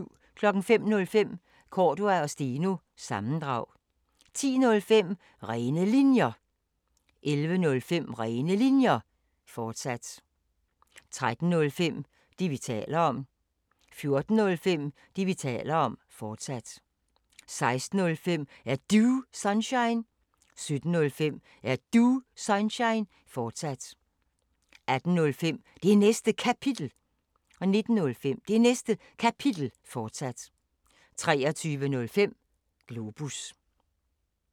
05:05: Cordua & Steno – sammendrag 10:05: Rene Linjer 11:05: Rene Linjer, fortsat 13:05: Det, vi taler om 14:05: Det, vi taler om, fortsat 16:05: Er Du Sunshine? 17:05: Er Du Sunshine? fortsat 18:05: Det Næste Kapitel 19:05: Det Næste Kapitel, fortsat 23:05: Globus